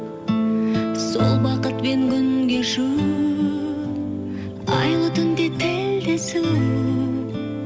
сол бақытпен күн кешу айлы түнде тілдесу